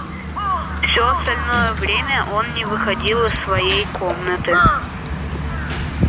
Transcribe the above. всё остальное время он не выходил из своей комнаты